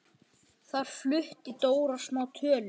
Þar flutti Dóra smá tölu.